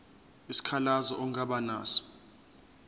isikhalazo ongaba naso